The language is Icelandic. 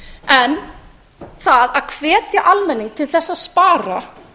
en það að hvetja almenning til þess að spara